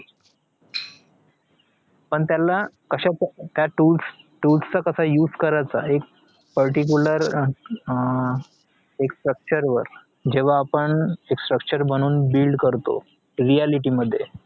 पण त्यांला कश्या प त्या tools tools चा कसा use करायचा एक particular अं एक structure वर जेव्हा आपण एक structure बनवुन build करतो reality मध्ये